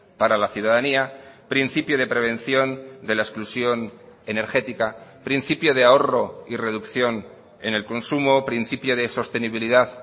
para la ciudadanía principio de prevención de la exclusión energética principio de ahorro y reducción en el consumo principio de sostenibilidad